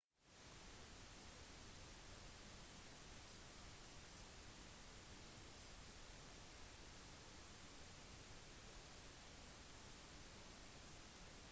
bussen kjørte mot six flags st louis i missouri hvor bandet skulle ha en konsert som var solgt ut